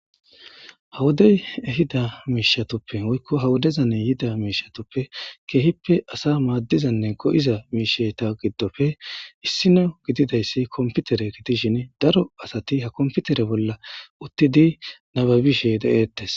hawodey ehida miishatoppe woykko ha wodezanne yida miishatoppe keehippe asa maaddizanne go7iza miisheta giddofe issino gididayssi komputere gitishin daro asati ha komputere bolla uttidi nababishe de7ettes